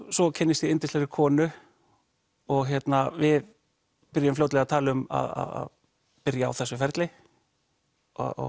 svo kynnist ég yndislegri konu og við byrjum fljótlega að tala um að byrja á þessu ferli og